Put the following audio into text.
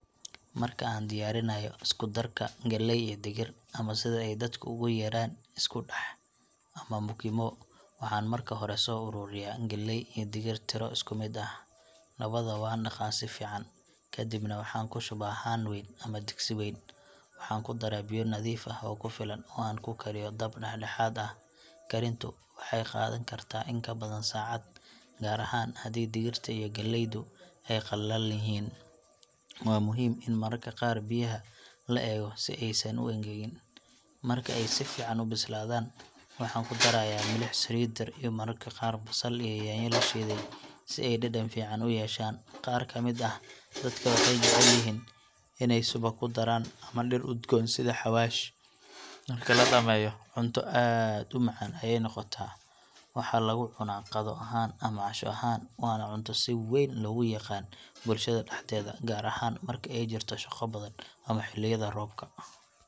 Marka aan diyaarinayo isku-darka galley iyo digir ama sida ay dadku ugu yeeraan isku-dhex ama mukimo waxaan marka hore soo ururiyaa galley iyo digir tiro isku mid ah. Labadaba waan dhaqaa si fiican, kadibna waxaan ku shubaa haan wayn ama digsi weyn. Waxaan ku daraa biyo nadiif ah oo ku filan oo aan ku kariyo dab dhexdhexaad ah. Karintu waxay qaadan kartaa in ka badan saacad, gaar ahaan haddii digirta iyo galleydu ay qallalan yihiin. Waa muhiim in mararka qaar biyaha la eego si aysan u engegin. Marka ay si fiican u bislaadaan, waxaan ku darayaa milix, saliid yar, iyo mararka qaar basal iyo yaanyo la shiiday si ay dhadhan fiican u yeeshaan. Qaar ka mid ah dadka waxay jecel yihiin inay subag ku daraan ama dhir udgoon sida xawaash .Marki la dhameeyo cunto aad u macaan ayeey noqotaa ,waxaa lagu cunaa qado ahaan ama casho ahaan waana cunto si weyn loogu yaqaan ,bulshada dhaxdeeda gaar ahaan marka ay jirto shaqo badan ama xiliyada roobka.